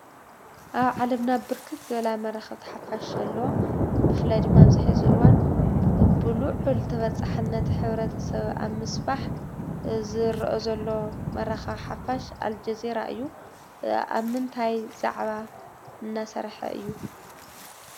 ኣብ ዓለምና ብርክት ዝበላ መራኸብቲ ሓፋሽ ኣለዋ፡፡ ብፍላይ ድማ ኣብዚ ሕዚ እዋን ብሉዕል ተበፃሕነት ሕ/ሰብ ኣብ ምስፋሕ ዝረአ ዘሎ መራኸቢ ሓፋሽ ኣልጀዚራ እዩ፡፡ ኣብ ምንታይ ዛዕባ እናሰርሐ እዩ?